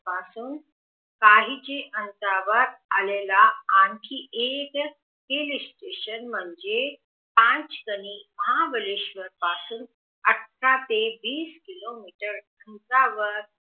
पासून काहीच अंतरावर आलेला आणखी एक हिलस्टेशन म्हणजे पांचदनी महाबळेश्वर पासून अठरा ते वीस किलोमीटर अंतरावर